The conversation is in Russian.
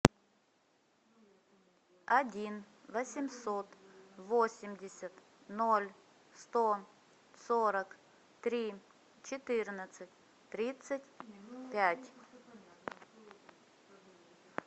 один восемьсот восемьдесят ноль сто сорок три четырнадцать тридцать пять